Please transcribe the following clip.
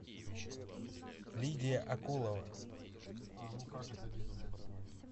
лидия акулова